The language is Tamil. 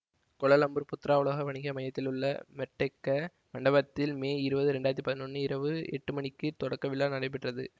கோலாலம்பூர் புத்ரா உலக வணிக மையதிலுள்ள மெர்டேக்க மண்டபத்தில் மே இருபது இரண்டு ஆயிரத்தி பதினொன்று இரவு எட்டு மணிக்கு தொடக்க விழா நடைபெற்றது